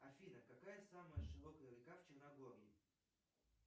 афина какая самая широкая река в черногории